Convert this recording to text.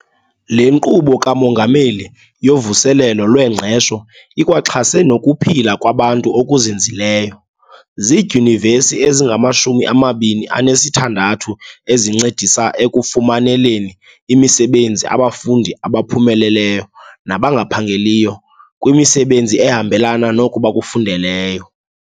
Le Nkqubo kaMongameli yoVuselelo lweNgqesho ikwaxhase nokuphila kwabantu okuzinzileyo. Zidyunivesithi ezingamashumi amabini anesithandathu ezincedisa ekufumaneleni imisebenzi abafundi abaphumeleleyo nabangaphangeliyo kwimisebenzi ehambelana noko bakufundeleyo.